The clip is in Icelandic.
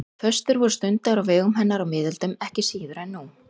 Föstur voru stundaðar á vegum hennar á miðöldum ekki síður en nú.